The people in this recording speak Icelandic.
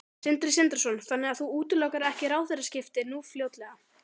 Sindri Sindrason: Þannig að þú útilokar ekki ráðherraskipti nú fljótlega?